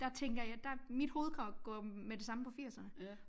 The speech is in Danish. Der tænker jeg der mit hoved går med det samme på firserne